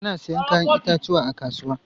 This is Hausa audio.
Ana sayen 'ya'yan itatuwa a kasuwa.